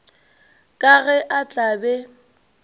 ka ge a tla be